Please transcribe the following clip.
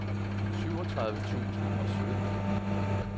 syvogtredive tusind og sytten